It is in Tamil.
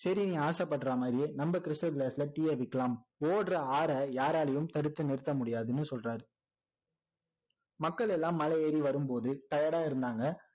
சரி நீ ஆசைப்படுற மாதிரியே நம்ம cystal glass ல tea ய விற்க்லாம் ஓடுற ஆற யாராலையும் தடுத்து நிறுத்த முடியாதுன்னு சொல்றாரு மக்கள் எல்லாம் மழை ஏறி வரும் போது tired டா இருந்தாங்க